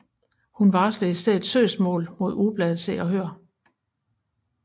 Hun varslede i stedet søgsmål mod ugebladet Se og Hør